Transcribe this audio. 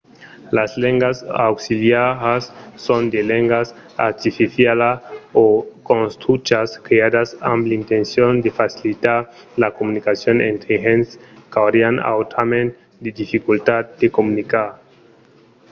las lengas auxiliaras son de lengas artificialas o construchas creadas amb l'intencion de facilitar la comunicacion entre de gents qu’aurián autrament de dificultats per comunicar